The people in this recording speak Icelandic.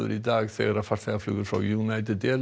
í dag þegar farþegaflugvél frá United